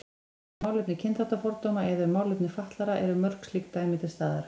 Um málefni kynþáttafordóma eða um málefni fatlaðra eru mörg slík dæmi til staðar.